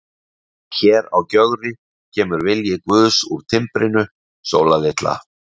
En hér á Gjögri kemur vilji guðs úr timbrinu, Sóla litla.